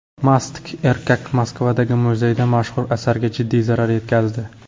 Mast erkak Moskvadagi muzeyda mashhur asarga jiddiy zarar yetkazdi.